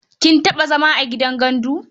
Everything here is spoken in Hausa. Kin taɓa zama a gidan gandu?